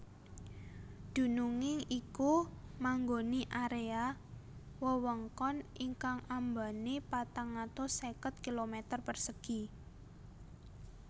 Dununging iku manggoni area wewengkon ingkang ambane patang atus seket kilometer persegi